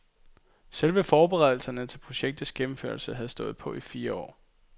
Selve forberedelserne til projektets gennemførelse havde stået på i fire år.